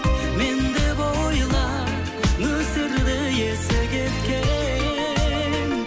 мен деп ойла нөсерді есі кеткен